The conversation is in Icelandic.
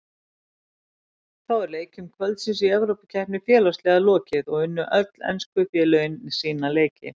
Þá er leikjum kvöldsins í Evrópukeppni félagsliða lokið og unnu öll ensku félögin sína leiki.